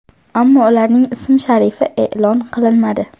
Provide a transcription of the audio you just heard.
Ammo ularning ism-sharifi e’lon qilinmadi.